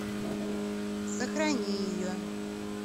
сохрани ее